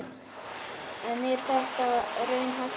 En er þetta raunhæft markmið?